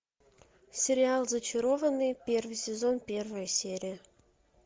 сериал зачарованные первый сезон первая серия